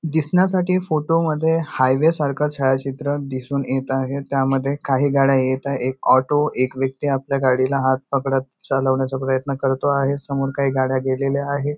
दिसण्यासाठी फोटो मध्ये हायवे सारखं छायाचित्र दिसून येत आहे त्यामध्ये काही गाड्या येत आहेत एक ऑटो एक व्यक्ती आपल्या गाडीला हात पकडत चालवण्याचा प्रयत्न करतो आहे समोर काही गाड्या गेलेल्या आहे.